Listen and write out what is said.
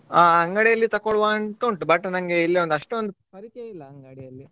ಅಹ್ ಅಂಗಡಿಯಲ್ಲಿ ತಗೋಳ್ವ ಅಂತ ಉಂಟು but ನಂಗೆ ಇಲ್ಲಿ ಒಂದ್ ಅಷ್ಟೊಂದ್ ಪರಿಚಯ ಇಲ್ಲ ಅಂಗಡಿಯಲ್ಲಿ.